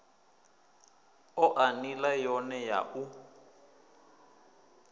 oa nila yone ya u